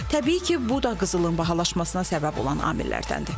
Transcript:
Təbii ki, bu da qızılın bahalaşmasına səbəb olan amillərdəndir.